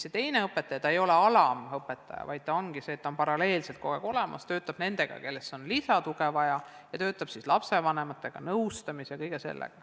See teine õpetaja ei ole mitte alamõpetaja, vaid ta ongi paralleelselt kogu aeg olemas ja töötab nendega, kellel on vaja lisatuge, ja töötab ka lapsevanematega, nende nõustamise ja kõige sellega.